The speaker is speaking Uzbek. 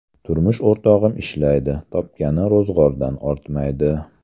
Turmush o‘rtog‘im ishlaydi, topgani ro‘zg‘ordan ortmaydi.